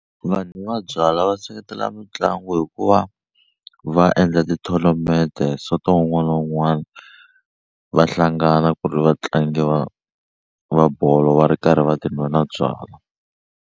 Vanhu va byalwa va seketela mitlangu hikuva va endla ti-tournament sonto wun'wana na wun'wana va hlangana ku ri vatlangi va va bolo va ri karhi va ti nwela byalwa.